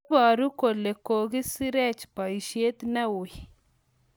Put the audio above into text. Iboru kole kokosirech boisyet neuy